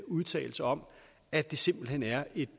udtalelse om at det simpelt hen er et